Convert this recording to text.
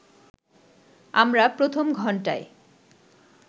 আমরা প্রথম ঘন্টায়